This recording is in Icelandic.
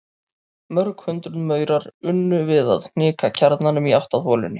Mörg hundruð maurar unnu við að hnika kjarnanum í átt að holunni.